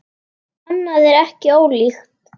Annað er ekki ólíkt.